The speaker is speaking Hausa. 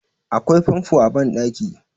akwai famfo a bandaki